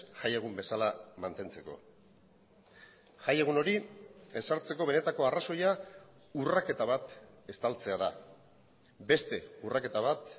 jaiegun bezala mantentzeko jaiegun hori ezartzeko benetako arrazoia urraketa bat estaltzea da beste urraketa bat